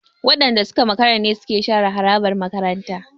Waɗanda suka makara ne suke share harabar makarantar.